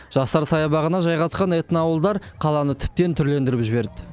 жастар саябағына жайғасқан этноауылдар қаланы тіптен түрлендіріп жіберді